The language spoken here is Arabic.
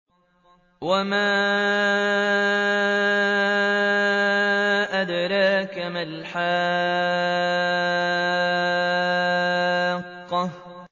وَمَا أَدْرَاكَ مَا الْحَاقَّةُ